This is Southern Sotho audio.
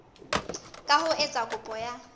ka ho etsa kopo ya